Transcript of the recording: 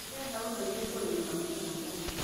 Ndĩrenda ũndeithie kũrĩmĩra mũgũnda